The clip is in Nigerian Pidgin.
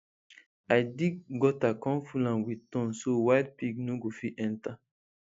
i dig gutter come full am with thorn so wild pig no go fit enter